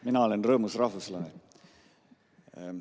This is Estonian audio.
Mina olen rõõmus rahvuslane.